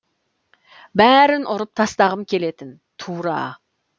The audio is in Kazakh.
бәрін ұрып тастағым келетін тура